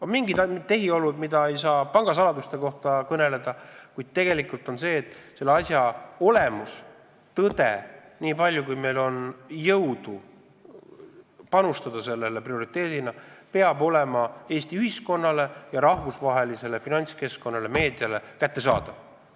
On mingid tehiolud, millest ei saa pangasaladuste tõttu kõneleda, kuid juhtunu olemus, tõde, niipalju kui meil on jõudu prioriteedina seda välja selgitada, peab olema Eesti ühiskonnas ja rahvusvahelises finantskeskkonnas, sh ka meediale kättesaadav.